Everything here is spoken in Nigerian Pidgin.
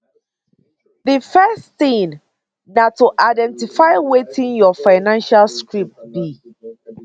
di first tin na to identify wetin your financial script be